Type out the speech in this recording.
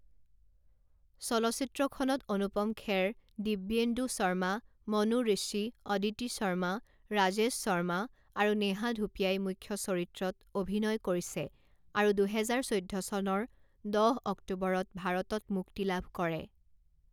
চলচ্চিত্ৰখনত অনুপম খেৰ, দিৱ্যেন্দু শৰ্মা, মনু ঋষি, অদিতি শৰ্মা, ৰাজেশ শৰ্মা আৰু নেহা ধুপিয়াই মুখ্য চৰিত্ৰত অভিনয় কৰিছে আৰু দুহেজাৰ চৈধ্য চনৰ দহ অক্টোবৰত ভাৰতত মুক্তি লাভ কৰে।